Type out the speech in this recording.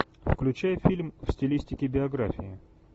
включай фильм в стилистике биографии